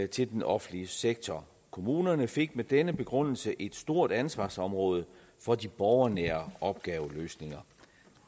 til den offentlige sektor kommunerne fik med denne begrundelse et stort ansvarsområde for de borgernære opgaveløsninger